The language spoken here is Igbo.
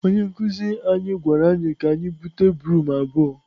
Onye nkụzi anyị gwara anyị ka anyị bute broom abụọ.